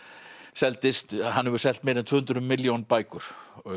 seldist hann hefur selt meira en tvö hundruð milljón bækur